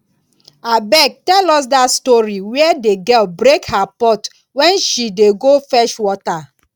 abeg tell us dat story where the girl break her pot wen she dey go fetch water